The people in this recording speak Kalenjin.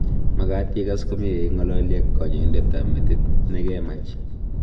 magat igas komye ya ingalali ak kanyaindet ab metit ne kemach